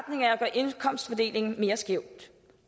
indkomstfordelingen mere skæv